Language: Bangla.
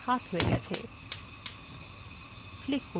cursor এখন একটি হাত হয়ে গেছে